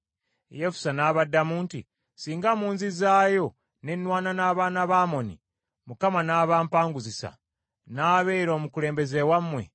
Yefusa n’abaddamu nti, “Singa munzizaayo ne nnwana n’abaana ba Amoni, Mukama n’abampangusiza, n’abeera omukulembeze wammwe?”